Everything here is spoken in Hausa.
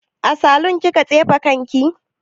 A salun kika tsefe kanki?